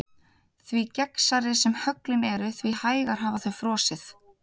Því gegnsærri sem höglin eru því hægar hafa þau frosið.